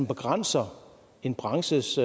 begrænser en branches